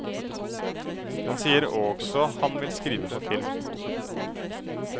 Han sier også han vil skrive for film.